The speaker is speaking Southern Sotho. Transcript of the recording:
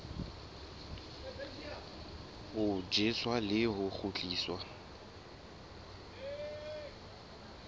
ho tjheswa le ho kgutliswa